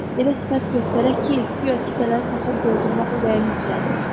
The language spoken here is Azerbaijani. Elə sifət göstərək ki, guya kisələri taxıl doldurmaq ürəyinizcədir.